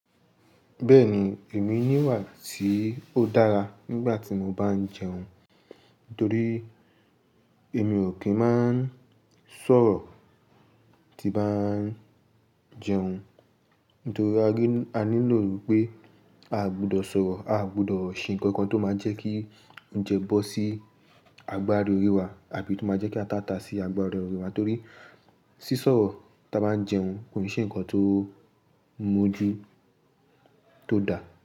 Bẹ́ẹ̀ni, èmi nìwà tí ó dára nígbà tí mo bá ń jẹun. Nítorí èmi ò kí ń máa ń sọ̀rọ̀ tí bá ń jẹun. Nítorí a nílò wípé a o gbọ́dọ̀ sọ̀rọ̀, a o gbọ́dọ̀ ṣe nǹkan tó máa jẹ́ kí oúnjẹ bọ́ sí agbári orí wa àbí tó máa jẹ́ kí atá tá sí agbári orí wa torí sísọ̀rọ̀ tí a bá ń jẹun kò n ṣe ǹkan tó moju tó dá.